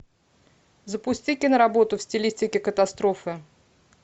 запусти киноработу в стилистике катастрофы